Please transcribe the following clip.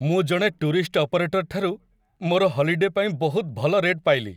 ମୁଁ ଜଣେ tourist operator ଠାରୁ ମୋର ହଲିଡେ ପାଇଁ ବହୁତ ଭଲ ରେଟ୍ ପାଇଲି।